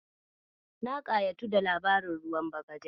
Na ƙayatu da labarin ruwan bagaja.